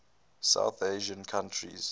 south asian countries